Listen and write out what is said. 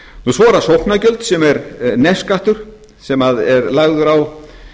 svo eru það sóknargjöld sem er nefskattur sem er lagður á